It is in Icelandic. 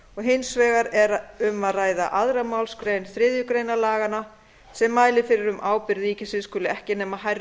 hins vegar er um að ræða önnur málsgrein þriðju grein laganna sem mælir fyrir um að ábyrgð ríkisins skuli ekki nema hærra hlutfalli